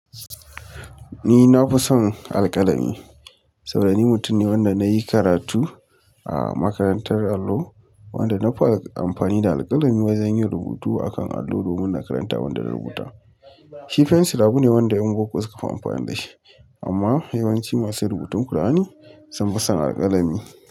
Ni na fi son alƙalami saboda ni mutum ne wanda na yi karatu a makarantar allo, wanda na fi amfani da alƙalami wajen yin rubutu akan allo domin na karanta abinda na rubuta. Shi fensir abu ne wanda yan boko suka fi amfani da shi amma yawanci masu rubutun Ƙur'ani sun fi son alƙalami.